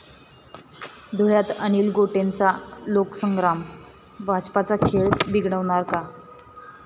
धुळ्यात अनिल गोटेंचा लोकसंग्राम भाजपचा खेळ बिघडवणार का?